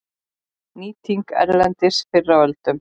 Nýting erlendis fyrr á öldum